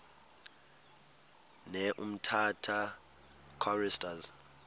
ne umtata choristers